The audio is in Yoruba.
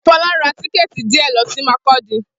Fola rá tìkétí díè lọ si Makurdi